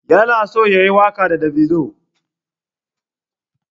Yana so yayi waƙa da davido.